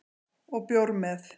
Og bjór með